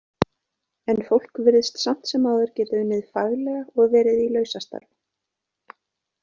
En fólk virðist samt sem áður geta unnið faglega og verið í lausastarfi.